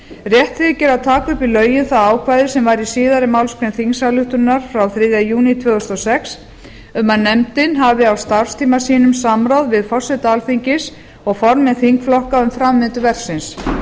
rétt þykir að taka upp í lögin það ákvæði sem var í síðari málsgrein þingsályktunarinnar frá þriðja júní tvö þúsund og sex um að nefndin hafi á starfstíma sínum samráð við forseta alþingis og formenn þingflokka um framvindu verksins